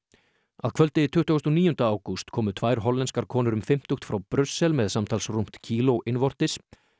að kvöldi tuttugasta og níunda ágúst komu tvær hollenskar konur um fimmtugt frá Brussel með samtals rúmt kíló innvortis